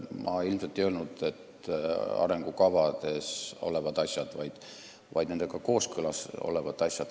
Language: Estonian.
Ma ilmselt ei öelnud, et arengukavades olevad asjad, vaid nendega kooskõlas olevad asjad.